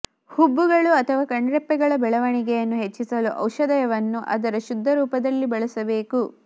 ಹುಬ್ಬುಗಳು ಅಥವಾ ಕಣ್ರೆಪ್ಪೆಗಳ ಬೆಳವಣಿಗೆಯನ್ನು ಹೆಚ್ಚಿಸಲು ಔಷಧವನ್ನು ಅದರ ಶುದ್ಧ ರೂಪದಲ್ಲಿ ಬಳಸಬೇಕು